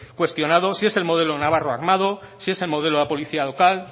cuestionado si el modelo navarro armado si es el modelo de la policía local